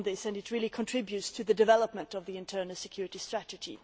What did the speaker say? It really contributes to the development of the Internal Security Strategy.